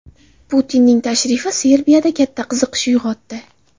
Putinning tashrifi Serbiyada katta qiziqish uyg‘otdi.